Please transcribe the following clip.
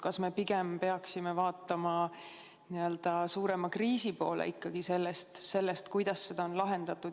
Kas me pigem peaksime vaatama n-ö suurema kriisi poole, kuidas seda lahendada?